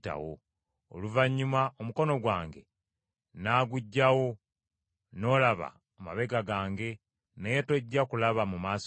Oluvannyuma omukono gwange nnaaguggyawo, n’olaba amabega gange; naye tojja kulaba ku maaso gange.”